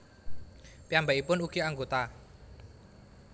Piyambakipun ugi anggota